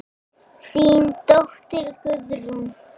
Þín dóttir Guðrún.